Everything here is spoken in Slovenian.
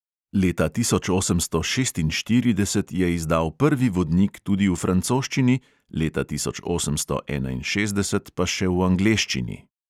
Leta tisoč osemsto šestinštirideset je izdal prvi vodnik tudi v francoščini, leta osemnajststo enainšestdeset pa še v angleščini.